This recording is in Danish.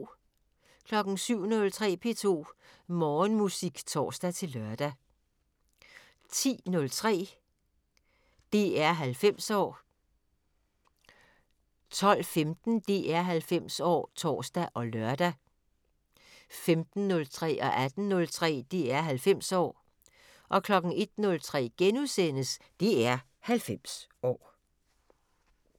07:03: P2 Morgenmusik (tor-lør) 10:03: DR 90 år 12:15: DR 90 år (tor og lør) 15:03: DR 90 år 18:03: DR 90 år 01:03: DR 90 år *